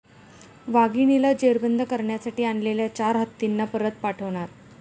वाघिणीला जेरबंद करण्यासाठी आणलेल्या चार हत्तींना परत पाठवणार